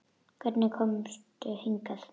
Hvernig komstu hingað?